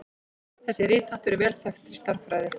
Þessi ritháttur er vel þekktur í stærðfræði.